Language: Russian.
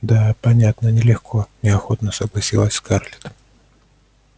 да понятно нелегко неохотно согласилась скарлетт